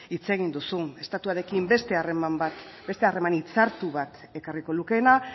hitz egin duzu estatuarekin beste harreman bat beste harreman hitzartu bat ekarriko lukeena